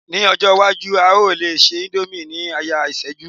ní ọjọ iwaju, a o le se indomie ni aya iseju